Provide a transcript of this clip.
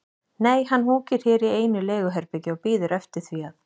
Nei, hann húkir hér í einu leiguherbergi og bíður eftir því að